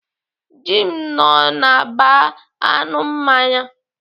Jim nọ na baa aṅụ mmanya.